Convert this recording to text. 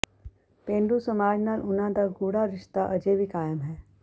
ਪੇਂਡੂ ਸਮਾਜ ਨਾਲ ਉਨ੍ਹਾਂ ਦਾ ਗੂੜ੍ਹਾ ਰਿਸ਼ਤਾ ਅਜੇ ਵੀ ਕਾਇਮ ਹੈ